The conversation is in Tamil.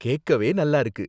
கேக்கவே நல்லா இருக்கு.